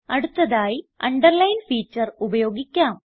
അടുത്തതായി underline feature ഉപയോഗിക്കാം